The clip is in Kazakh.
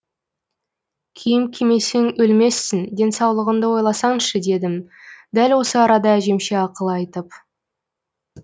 киім кимесең өлмессің денсаулығыңды ойласаңшы дедім дәл осы арада әжемше ақыл айтып